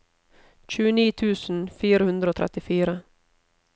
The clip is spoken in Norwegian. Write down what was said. tjueni tusen fire hundre og trettifire